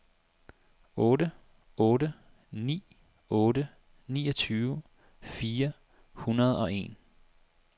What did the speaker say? otte otte ni otte niogtyve fire hundrede og en